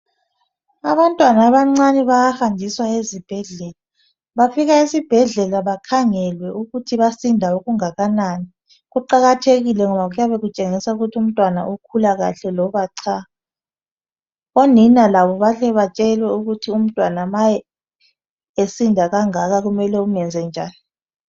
Abantwana abancane bayahanjiswa ezibhedlela befika esibhedlela bayakhangelwe ukuthi basinda okungakanani kuqakathekile ngoba kuyabe kutshengisa ukuthi umtwana ukhula kahle loba cha onina labo bahle batshelwe ukuthi umtwana esinda kangaka mele umenze njan